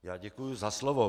Já děkuji za slovo.